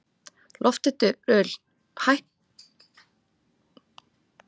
Lofthildur, hækkaðu í hátalaranum.